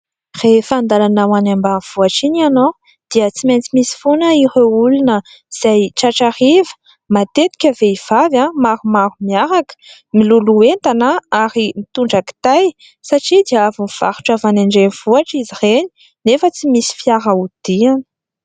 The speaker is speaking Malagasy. Rehefa an-dalana ho any ambanivohitra iny ianao dia tsy maintsy misy foana ireo olona izay tratra hariva. Matetika vehivavy maromaro miaraka, miloloha entana ary mitondra kitay satria dia avy nivarotra avy any andrenivohitra izy ireny nefa tsy misy fiara hodiany.